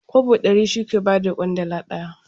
Kwabo ɗari shi ke ba da ƙwandala ɗaya.